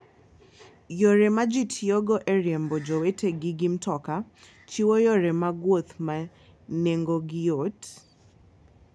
Yore ma ji tiyogo e riembo jowetegi gi mtoka, chiwo yore mag wuoth ma nengogi yot.